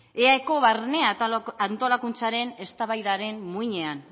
eaeko barne antolakuntzaren eztabaidaren muinean